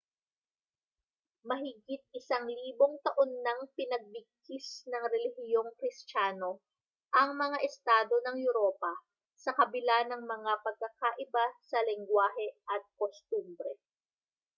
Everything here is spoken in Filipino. mahigit isang libong taon nang pinagbigkis ng relihiyong kristiyano ang mga estado ng europa sa kabila ng mga pagkakaiba sa lengguwahe at kostumbre